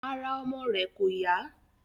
Ara ọmọ rẹ̀ kò yá